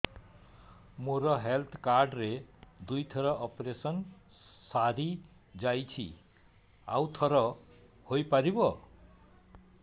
ମୋର health card ରେ ଦୁଇ ଥର ଅପେରସନ ସାରି ଯାଇଛି ଆଉ ଥର ହେଇପାରିବ